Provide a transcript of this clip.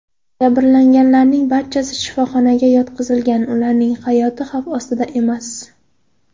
Jabrlanganlarning barchasi shifoxonaga yotqizilgan, ularning hayoti xavf ostida emas.